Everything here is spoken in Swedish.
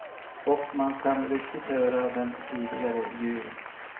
Och man kan riktigt höra den tidigare jur.